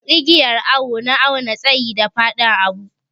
Igiyar awo na awna tsayi da fadin abu.